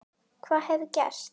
Hvað hefði gerst?